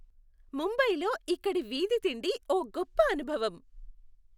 ముంబయిలో ఇక్కడి వీధి తిండి ఓ గొప్ప అనుభవం.